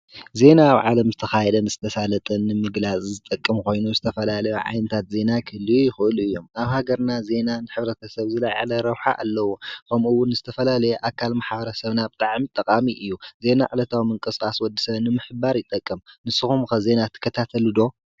ዜና ኣብ ዓለም ዝተኻየደን ዝተሳለጠን ምግላፅ ዝጠቅም ኾይኑ ዝተፈላለዩ ዓይነታት ዜና ክህልዩ ይኽእሉ እዩም፡፡ ኣብ ሃገርና ዜና ንሕብረተ ሰብ ዝለዓለ ረብሓ ኣለዎ፡፡ ኸምኡውን ዝተፈላለየ ኣካል ማሕበረ ሰብና ብጣዕሚ ጠቓሚ እዩ፡፡ ዜና ዕለታዊ ምንቅስቃስ ወዲ ሰብ ንምሕባር ይጠቅም፡፡ ንስኹም ከ ዜና ትከታተሉ ዶ?